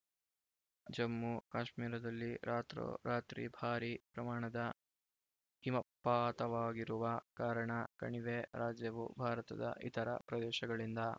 ಜಮ್ಮುಕಾಶ್ಮೀರದಲ್ಲಿ ರಾತ್ರೋರಾತ್ರಿ ಭಾರೀ ಪ್ರಮಾಣದ ಹಿಮಪಾತವಾಗಿರುವ ಕಾರಣ ಕಣಿವೆ ರಾಜ್ಯವು ಭಾರತದ ಇತರ ಪ್ರದೇಶಗಳಿಂದ